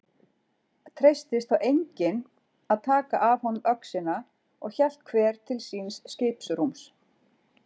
Treystist þá enginn að taka af honum öxina og hélt hver til síns skipsrúms.